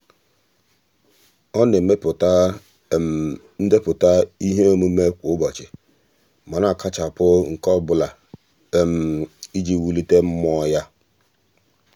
ọ na-emepụta ndepụta iheomume kwa ụbọchị ma na-akachapụ nke ọbụla iji wulite mmụọ ya.